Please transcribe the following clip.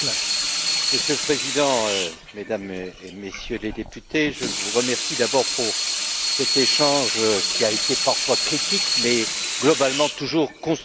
Monsieur le Président, Mesdames et Messieurs les députés, je vous remercie d'abord pour cet échange, qui a été parfois critique, mais globalement toujours constructif.